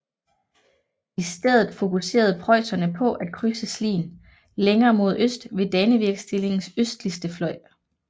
I stedet fokuserede preusserne på at krydse Slien længere mod øst ved Dannevirkstillingens østligste fløj